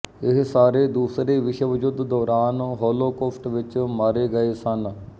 ਇਹ ਸਾਰੇ ਦੂਸਰੇ ਵਿਸ਼ਵ ਯੁੱਧ ਦੌਰਾਨ ਹੌਲੋਕੌਸਟ ਵਿੱਚ ਮਾਰੇ ਗਏ ਸਨ